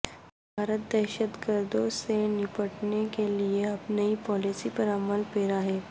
بھارت دہشتگردوں سے نمٹنے کے لیے اب نئی پالیسی پر عمل پیرا ہے